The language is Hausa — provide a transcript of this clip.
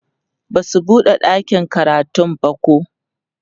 Basu buɗe ɗakin karatun bako